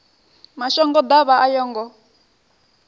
mashango ḓavha a yo ngo